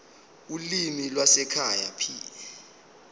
ulimi lwasekhaya p